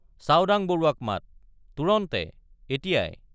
চাওডাং বৰুৱাক মাত—তুৰন্তে এতিয়াই।